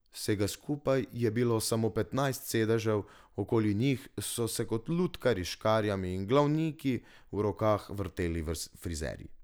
Vsega skupaj je bilo samo petnajst sedežev, okoli njih so se kot lutkarji s škarjami in glavniki v rokah vrteli frizerji.